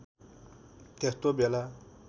त्यस्तो बेला